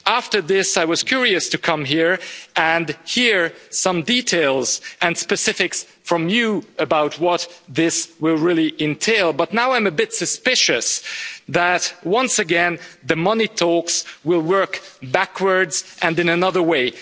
After this I was curious to come here and hear some details and specifics from you about what this will really entail, but now I'm a bit suspicious that once again the money talks, will work backwards and in another way.